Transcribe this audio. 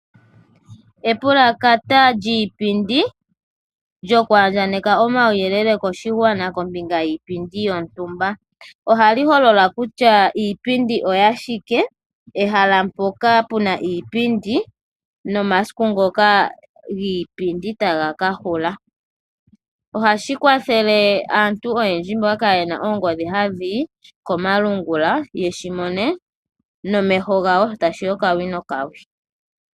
Epulakata lyiipindi lyokuandjakaneka omauyelele koshigwana kombinga yiipindi yontumba. Ohali holola kutya iipindi oya shike, ehala mpoka pu na iipindi nomasiku ngoka iipindi tayi ka hula. Ohashi kwathele aantu oyendji mboka kaaye na oongodhi hadhi yi komalungula ye shi mone nomeho gawo sho tashi yi okawi nokawi.